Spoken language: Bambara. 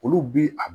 Olu bi a